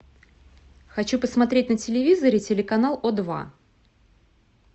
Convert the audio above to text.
хочу посмотреть на телевизоре телеканал о два